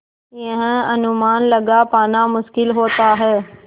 यह अनुमान लगा पाना मुश्किल होता है